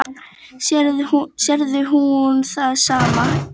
Sér hún það sama og ég?